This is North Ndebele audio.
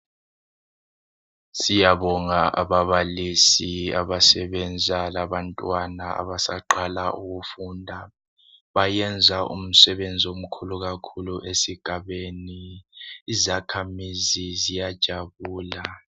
siyabonga ababalisi abasebenza labantwana abaqhala ukufunda bayenza umsebenzi omkhulu kakhulu esigabeni izakhamizi ziyajabula